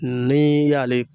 Ni y'ale